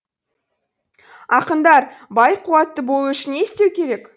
ақындар бай қуатты болу үшін не істеу керек